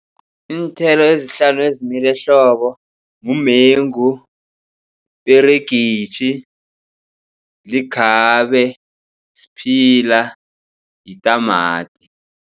Iinthelo ezihlanu ezimila ehlobo mumengu, iperegisi, likhabe, siphila, yitamati.